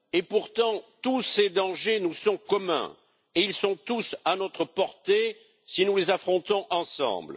Pourtant, tous ces dangers nous sont communs et ils sont tous à notre portée si nous les affrontons ensemble.